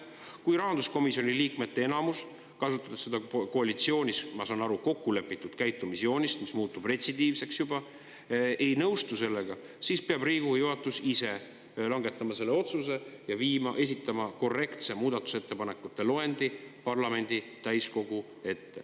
Kui rahanduskomisjoni liikmete enamus, kasutades seda koalitsioonis, ma saan aru, kokku lepitud käitumisjoonist, mis muutub juba retsidiivseks, ei nõustu sellega, siis peab Riigikogu juhatus ise langetama selle otsuse ja esitama korrektse muudatusettepanekute loendi parlamendi täiskogule.